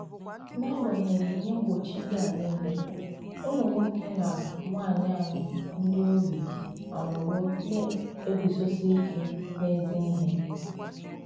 N’agbànyéghị́ Íhè mgbochi ndị a niile, ùmụ̀ nwòkè na nwànyị̀ ànyị̀ ndị ogbi anọwo na-eguzosi ìkè n’ezi ihé.